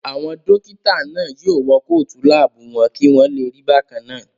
Àwọn dókítà náà yóò wọ kóòtù láàbù wọn kí wọ́n lè rí bákannáà